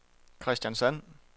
Kristiansand